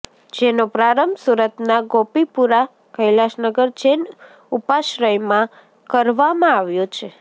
જેનો પ્રારંભ સુરતના ગોપીપુરા કૈલાશનગર જૈન ઉપાશ્રયમાં કરવામાં આવ્યો છે